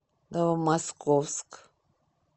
новомосковск